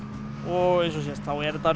og eins og sést er þetta